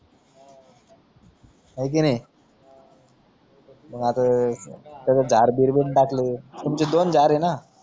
हाय कि नाई आता सगळे झाड बीड पण टाकले तुमची दोन झाडयेना